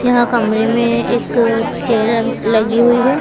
यहां कमरें में एक चेयर लगी हुई है।